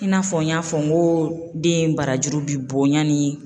I n'a fɔ n y'a fɔ n ko den barajuru bi bɔ yanni